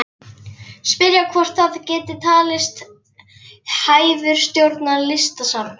Spyrja hvort það geti talist hæfur stjórnandi Listasafns